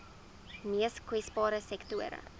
mees kwesbare sektore